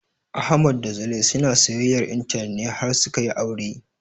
Ahmad da Zulai suna soyayyar intanet ne har suka yi aure